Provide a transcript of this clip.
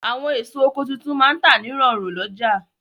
Àwọn èso oko tuntun máa n tà ní rọ̀rùn lọ́jà